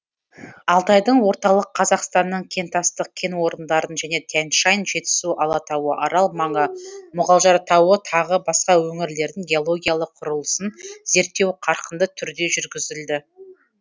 алтайдың орталық қазақстанның кентастық кен орындарын және тянь шань жетісу алатауы арал маңы мұғалжар тауы тағы басқа өңірлердің геологиялық құрылысын зерттеу қарқынды түрде жүргізілді